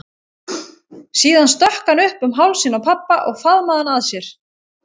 Síðan stökk hann upp um hálsinn á pabba og faðmaði hann að sér.